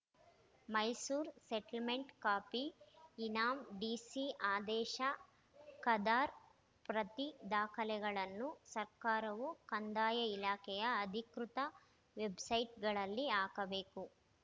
Mysore settlement copy ಇನಾಂ DC ಆದೇಶ ಕರ್ದಾ ಪ್ರತಿ ದಾಖಲೆಗಳನ್ನು ಸರ್ಕಾರವು ಕಂದಾಯ ಇಲಾಖೆಯ ಅಧಿಕೃತ ವೆಬ್‌ಸೈಟ್‌ಗಳಲ್ಲಿ ಹಾಕಬೇಕು